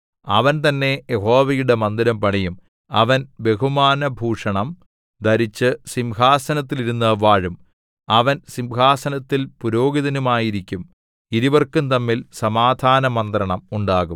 അവൻ തന്നെ യഹോവയുടെ മന്ദിരം പണിയും അവൻ ബഹുമാനഭൂഷണം ധരിച്ചു സിംഹാസനത്തിൽ ഇരുന്നു വാഴും അവൻ സിംഹാസനത്തിൽ പുരോഹിതനുമായിരിക്കും ഇരുവർക്കും തമ്മിൽ സമാധാനമന്ത്രണം ഉണ്ടാകും